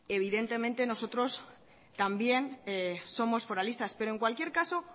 evidentemente nosotros también somos foralistas pero en cualquier caso